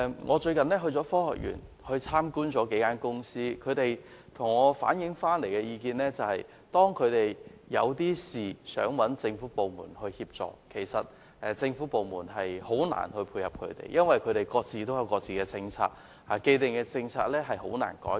我最近到科學園參觀了幾家公司，他們向我反映，每當有事想尋求政府部門協助，當局總是難以配合，因為各部門各有政策，既定政策難以改變。